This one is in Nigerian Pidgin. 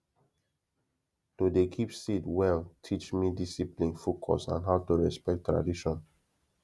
to dey keep seed well teach me discipline focus and how to respect tradition